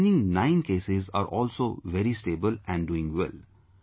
And the remaining nine cases are also very stable and doing well